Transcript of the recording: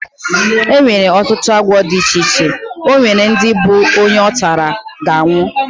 Enwere ọtụtụ agwọ dị iche iche, onwere ndị nke bụ onye ọtara, ga anwụ